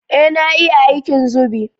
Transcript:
Ee na iya aikin zubi